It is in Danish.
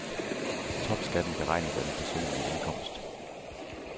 Topskatten beregnes af den personlige indkomst.